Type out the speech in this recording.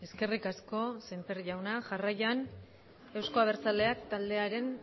eskerrik asko semper jauna jarraian euzko abertzaleak taldearen